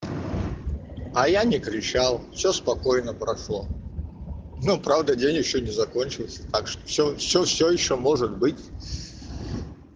а я не кричал всё спокойно прошло ну правда день ещё не закончился так что всё всё всё ещё может быть